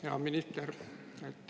Hea minister!